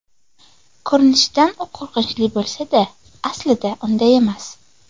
Ko‘rinishidan u qo‘rqinchli bo‘lsa-da, aslida, unday emas.